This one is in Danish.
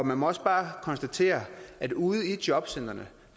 man må også bare konstatere at ude i jobcentrene